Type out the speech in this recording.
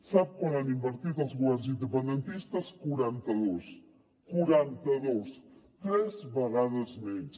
sap quant hi han invertit els governs independentistes quaranta dos quaranta dos tres vegades menys